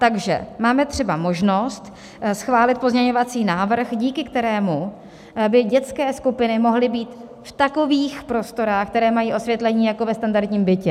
Takže máme třeba možnost schválit pozměňovací návrh, díky kterému by dětské skupiny mohly být v takových prostorách, které mají osvětlení jako ve standardním bytě.